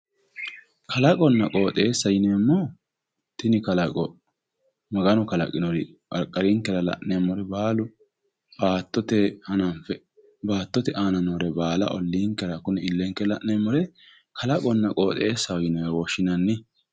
kalaqonna qooxeessa yineemmohu tini kalaqi maganu kalaqinori qarqarinkera la'neemmohu baalu baattotenni hananfe baattote aana noore baala olliinkera noore illenkenni la'neemmore kalaqonna qooxeessaho yinewe woshshinanni.